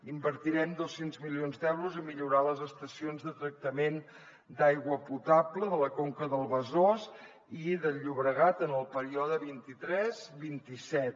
invertirem dos cents milions d’euros a millorar les estacions de tractament d’aigua potable de la conca del besòs i del llobregat en el període vint tres vint set